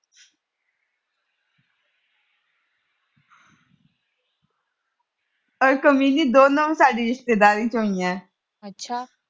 ਪਰ ਦੋਨੋਂ ਸਾਡੀ ਰਿਸ਼ਤੇਦਾਰੀ ਚ ਹੋਈਆਂ।